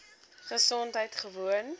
gesondheidgewoon